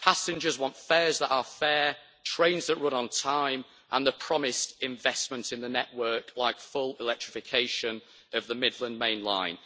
Passengers want fares that are fair, trains that run on time and the promised investment in the network, like full electrification of the Midland Main Line.